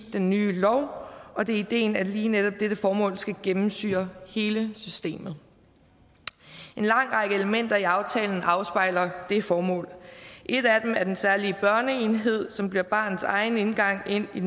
i den nye lov og det er ideen at lige netop dette formål skal gennemsyre hele systemet en lang række elementer i aftalen afspejler det formål et af dem er den særlige børneenhed som bliver barnets egen indgang ind i